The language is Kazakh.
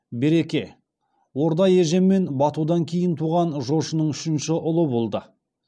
берке орда ежен мен батудан кейін туған жошының үшінші ұлы болды